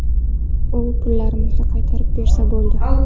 U pullarimizni qaytarib bersa bo‘ldi.